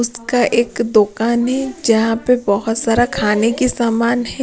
उसका एक दुकान है जहां पर बहुत सारा खाने की सामान है।